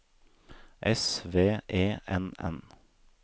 S V E N N